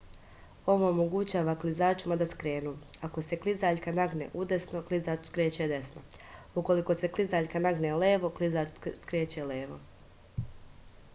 ovo omogućava klizačima da skrenu ako se klizaljka nagne udesno klizač skreće desno ukoliko se klizaljka nagne ulevo klizač skreće levo